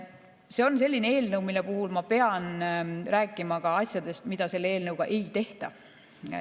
See on selline eelnõu, mille puhul ma pean rääkima ka asjadest, mida selle eelnõuga ei tehta.